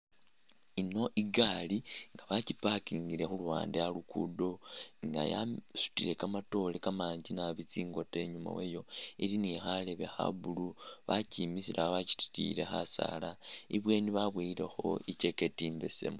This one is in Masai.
Ino igari nga bakyi’ packingile khuluwande alugudo nga yasutile kamaatore kamangi nabi tsingota inyama wayo , ili ni khareebe kha blue wakyisile awo wakyititiyile khasaala inbweni babowelekho i’jacket imbeesemu.